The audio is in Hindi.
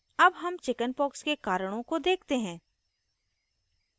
अब हम chickenpox के कारणों को देखते हैं